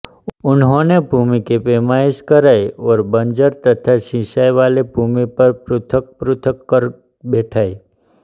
उन्होंने भूमि की पैमाइश कराई और बंजर तथा सिंचाइवाली भूमि पर पृथकपृथक कर बैठाए